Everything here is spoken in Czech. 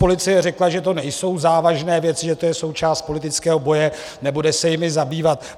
Policie řekla, že to nejsou závažné věci, že to je součást politického boje, nebude se jimi zabývat.